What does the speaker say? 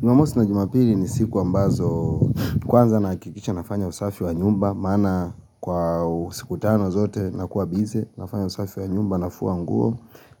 Jumamosi na jumapili ni siku ambazo Kwanza na hakikisha nafanya usafi wa nyumba Maana kwa siku tano zote nakuwa busy nafanya usafi wa nyumba nafua nguo